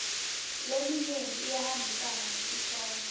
leminyenti iyahambisana nesihloko